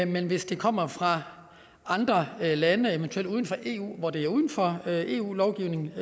men hvis det kommer fra andre lande eventuelt uden for eu hvor det er uden for eu lovgivningen